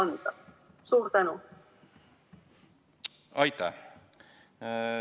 Aitäh!